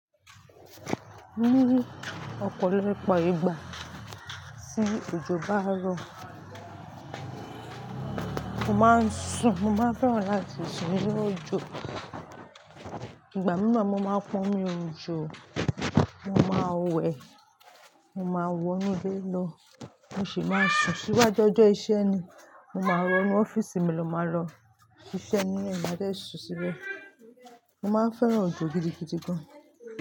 Ní ọ̀pọ̀lọpọ̀ ìgbà tí òjò bá ń rọ, mo máa ń sùn. Mo máa fẹ́ràn láti sùn nínú òjò. Ìgbà mìíràn mo máa pon mí run òjò, mo máa wẹ̀, mo máa wọ inú ilé lọ, mo sì máa sùn. Síwájú ọjọ́ iṣẹ́ ni mo máa rọ inú ọ́fíìsì mi lọ máa lọ ṣiṣẹ́ inu é, má jẹ́ sùn síbẹ̀. Mo máa ń fẹ́ràn òjò gidigidi gan.